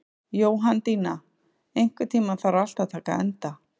Jóhanndína, einhvern tímann þarf allt að taka enda.